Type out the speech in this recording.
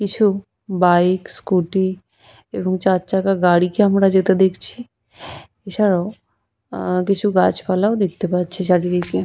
কিছু bike scooty এবং চারচাকা গাড়িকে আমরা যেতে দেখছি এছাড়াও উহ্হঃ কিছু গাছপালা ও দেখতে পাচ্ছি চারিদিকে।